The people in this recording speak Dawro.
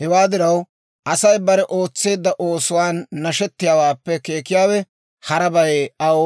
Hewaa diraw, Asay bare ootseedda oosuwaan nashetiyaawaappe keekiyaawe harabay aw